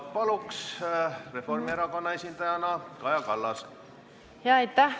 Palun, Reformierakonna esindaja Kaja Kallas!